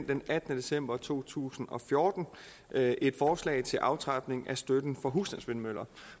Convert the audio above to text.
den attende december to tusind og fjorten et et forslag til aftrapning af støtten for husstandsvindmøller